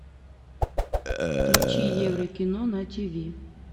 включи еврокино на тиви